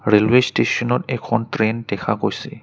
Railway ষ্টেচনত এখন train দেখা গৈছে।